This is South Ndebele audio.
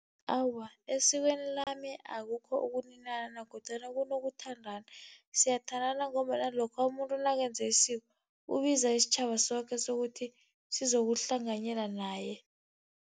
Awa, esikweni lami akukho ukuninana kodwana kunokuthandana. Siyathandana ngombana lokha umuntu nakenze isiko, ubiza isitjhaba soke sokuthi sizokuhlanganyela naye.